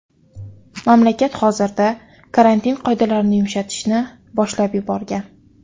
Mamlakat hozirda karantin qoidalarini yumshatishni boshlab yuborgan.